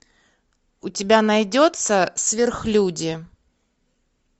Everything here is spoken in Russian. у тебя найдется сверхлюди